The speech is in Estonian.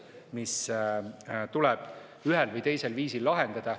Need küsimused tuleb ühel või teisel viisil lahendada.